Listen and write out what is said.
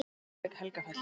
Reykjavík: Helgafell.